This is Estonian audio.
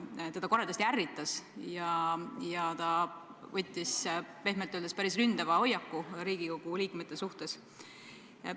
Teda see koledasti ärritas ja ta võttis pehmelt öeldes päris ründava hoiaku Riigikogu liikmete suhtes.